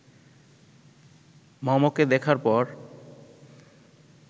মমকে দেখার পর